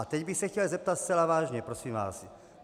A teď bych se chtěl zeptat zcela vážně, prosím vás.